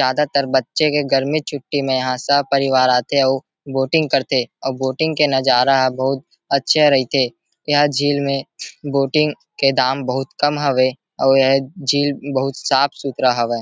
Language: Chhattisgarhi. ज्यादातर बच्चे के गर्मी छुट्टी में यहा सह परिवार आ थे बोटिंग कर थे अउ बोटिंग के नजारा बहुत अच्छा रईथे यह झील में बोटिंग के दाम बहुत कम हवे और यह झील बहुत साफ़ सुथरा हवय।